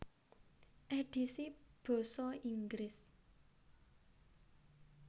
Édhisi basa Inggris